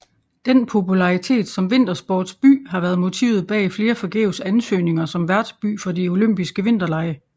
Den popularitet som vintersportsby har været motivet bag flere forgæves ansøgninger som værtsby for de olympiske vinterlege